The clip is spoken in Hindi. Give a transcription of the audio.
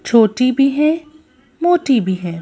छोटी भी है मोटी भी है।